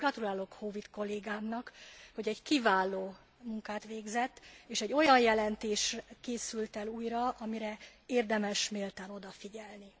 Ezért gratulálok Howitt kollégámnak, hogy egy kiváló munkát végzett és egy olyan jelentés készült el újra, amire érdemes méltán odafigyelni.